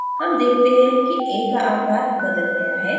हम देखते हैं कि a का आकार बदल गया है